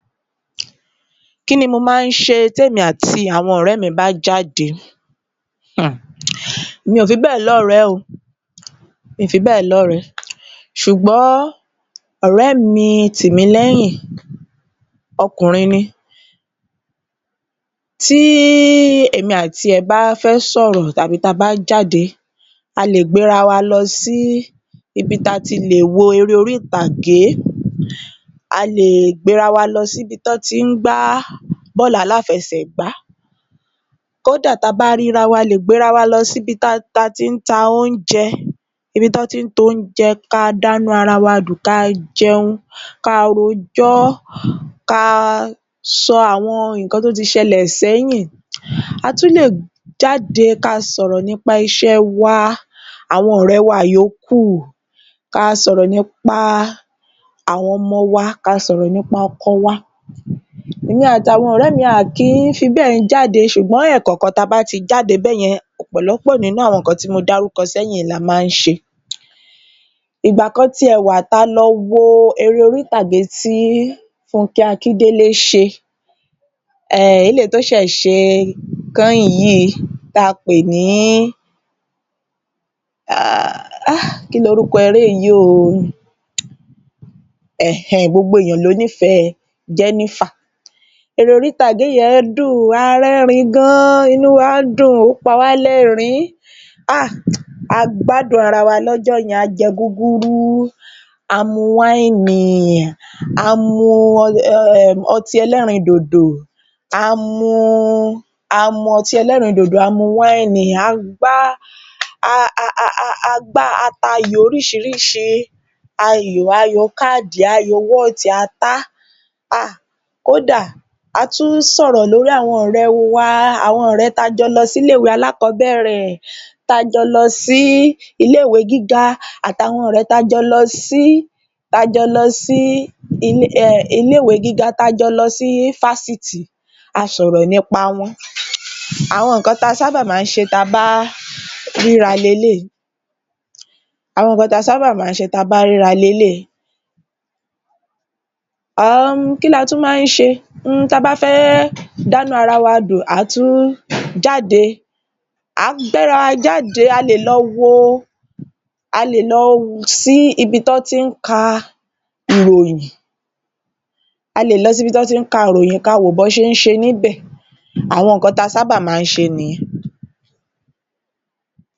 Kí ni mo má ń ṣe tí èmi àti àwọn ọ̀rẹ́ mi bá jáde? Hmm mi ò fi bẹ́è lọ́ọ̀rẹ́ o ṣùgbọ́n ọ̀rẹ́ mi Tìmílẹ́yìn ọkùnrin ni tí èmí àtiirẹ̀ bá fẹ́ sọ̀rọ̀ tàbí tí a bá jáde a lè gbé ara wa lọ sí ibi tí a ti lè wo eré orí ìtàgé a lè gbé ara wa lọ sí ibi tí wọ́ ti ń gbá bọ́ọ̀lù aláfesẹ̀gbá, kódà tí a bá rí ara wa, a lè gbé ara wa lọ sí ibi tí wọ́n tí ń ta oúnjẹ ká dá inú ara wa dùn ká jẹun ká rojọ́, ká sọ àwọn nǹkan tí ó ti ṣẹlẹ̀ sẹ́yìn. A tún lè jáde kí a sọ̀rọ̀ nípa iṣẹ́ wa, àwọn ọ̀rẹ́ wa yòókù, ka sọ̀rọ̀ nípa àwọn ọmọ wa, ká a sọ̀rọ̀ nípa àwọn ọkọ wa. Èmi àti àwọn ọ̀rẹ́ mi a kìí fi béè jáde ṣùgbọ́n ẹ̀kọ̀ọ̀kan tí a bá ti jáde báyẹn ọ̀pọ̀lọ́pọ̀ nǹkan tí mo ti dárúkọ sẹ́yìn ni a máa ń ṣe. Ìgbà kan ti ẹ̀ wà tí a lọ wo eré orí ìtàgé tí Funkẹ Akindele ṣe, eléyìí tí ó ṣẹ̀ ẹ̀ ṣe kẹ́yìn yìí tí a pè ní ‘Gbogbo ènìyàn ló nífèẹ́ Jenifa’. Eré orí-ìtàgé yẹn dùn a rẹ́rìn-ín gan inú wa dùn, ó pawá lẹ́rìn-ín, a gbádùn ara wa lọ́jọ́ yen a jẹ gúgúrú, a mu wíìnì, a mu ọtí ẹlẹrìn-ín-dòdò, a pa ayò oríṣiríṣi, ayò káàdì, ayò wọ́ọ̀tì, a tá, kódà a tún sọ̀rọ̀ lórí àwọn ọ̀rẹ́ ẹ́ wa, àwọn ọ̀rẹ́ tí a jọ lọ sí ilé-ìwé alákọ̀ọ́bẹ̀rẹ̀, tá a jọ lọ sí ile-ìwé gíga àti àwọn ọ̀rẹ́ tí a jọ lọ sí fásitì a sọ̀rọ̀ nípa wọn. Àwọn nǹkan tí a sábà ma ń ṣe tí a bá ríra ni eléyìí. Tí a bá fẹ́ dánú ara wa dùn a tún ma ń jáde, a máa gbé ara wa jáde, a lè lọ sí ibi tí wọ́n ti ń ka ìròyìn kí a wo bí wọ́n ṣe ń se níbẹ̀ àwọn nǹkan tí a sábà máa ń ṣe nìyẹn.